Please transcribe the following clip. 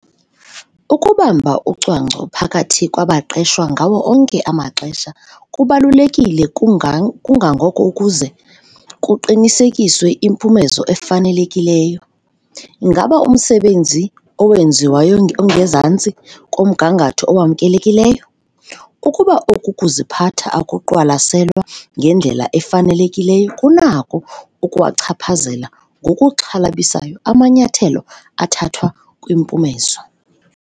Ukubamba ucwangco phakathi kwabaqeshwa ngawo onke amaxesha kubalulekile kangangoko ukuze kuqinisekiswe impumezo efanelekileyo. Ngaba umsebenzi owenziwayo ongezantsi komgangatho owamkelekileyo? Ukuba oku kuziphatha akuqwalaselwa ngendlela efanelekileyo kunako ukuwachaphazela ngokuxhalabisayo amanyathelo athathwa kwimpumezo.